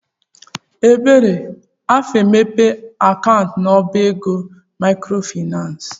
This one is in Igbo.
Ebere afa-emepe akaụntụ n'ọbá ego maịkrofaịnans?